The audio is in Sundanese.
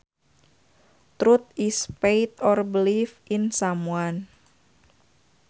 Trust is faith or belief in someone